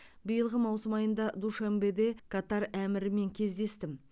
биылғы маусым айында душанбеде катар әмірімен кездестім